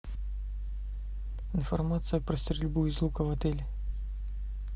информация про стрельбу из лука в отеле